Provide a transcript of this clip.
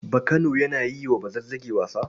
Bakano yana yi wa Bazazzagi wasa.